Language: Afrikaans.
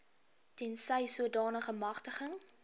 tensy sodanige magtiging